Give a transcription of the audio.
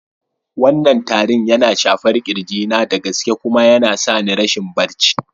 Wannan tarin yana shafar kirji na da gaske kuma yana sa ni rashin barci.